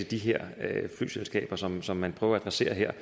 de her flyselskaber som som man prøver at adressere her